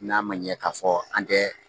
N'a man ɲɛ k'a fɔ an tɛ